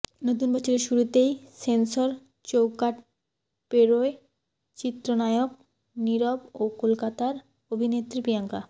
নতুন বছরের শুরুতেই সেন্সর চৌকাঠ পেরোয় চিত্রনায়ক নিরব ও কলকাতার অভিনেত্রী প্রিয়াঙ্কা